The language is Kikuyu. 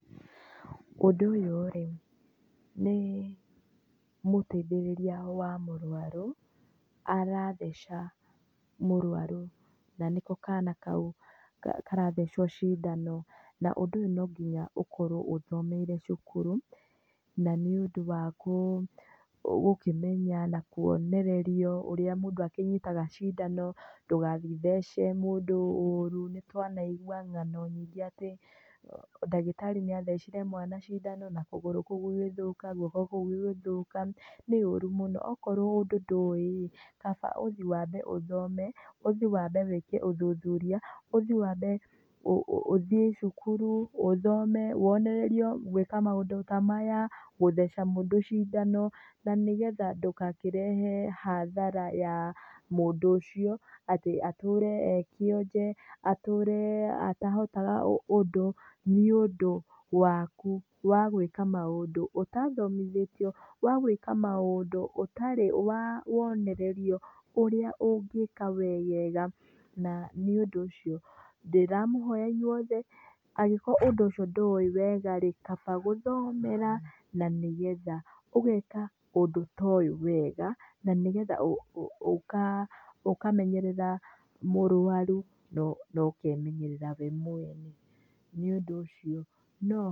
Ũndũ ũyũ rĩ, nĩ mũteithĩrĩria wa mũrwaru, aratheca mũrwaru na nĩko kana kau ka karathecwo cindano, na ũndũ ũyũ no nginya ũkorwo ũthomeire cukuru, na nĩũndũ wa kũ, ũngĩmenya na kuonererio ũrĩa mũndũ akĩnyitaga cindano. ndũgathiĩ ũthece mũndũ ũru, nĩtwanaigwa ngano nyingĩ atĩ ndagĩtarĩ nĩathecire mwana cindano na kũgũrũ kuũ gũgĩthũka, guoko kuũ gũgĩthũka, nĩũru mũno akorwo ũndũ ndũĩrĩ, kaba ũthiĩ wambe ũthome, ũthiĩ wambe wĩke ũthuthuria, ũthiĩ wambe ũ ũthiĩ cukuru, ũthome, wonererio gwĩka maũndũ ta maya, gũtheca mũndũ cindano, na nĩgetha ndũgakĩrehe hathara ya mũndũ ũcio, atĩ atũre e kĩonje, atũre atahotaga ũ ũndũ, nĩũndũ waku wa gũĩka maũndũ ũtathomithĩtio, wa gwĩka maũndũ ũtarĩ wa wonererio ũrĩa ũngĩka wega na nĩũndũ ũcio, ndĩramũhoya inyuothe, angĩkorwo ũndũ ũcio ndũuĩ wega rĩ, kaba gũthomera, na nĩgetha ũgeka ũndũ ta ũyũ wega na nĩgetha ũ ũka ũkamenyerera mũrwaru na ũ ũkemenyerera we mwene, nĩũndũ ũcio no.